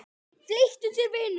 Flýt þér, vinur!